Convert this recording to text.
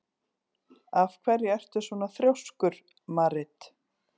Af hverju ertu svona þrjóskur, Marit?